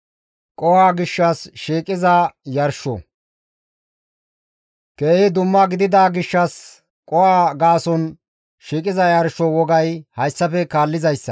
« ‹Keehi dumma gidida gishshas qoho gaason shiiqiza yarsho wogay hayssafe kaallizayssa,